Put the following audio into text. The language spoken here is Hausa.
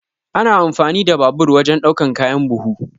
Ana amfani da babur wajan ɗaukan kayan buhu.